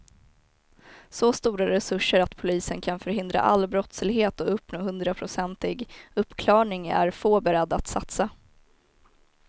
Så stora resurser att polisen kan förhindra all brottslighet och uppnå hundraprocentig uppklarning är få beredda att satsa.